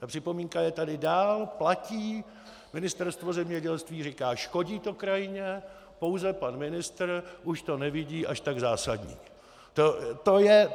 Ta připomínka je tady dál, platí, Ministerstvo zemědělství říká: škodí to krajině, pouze pan ministr už to nevidí až tak zásadní.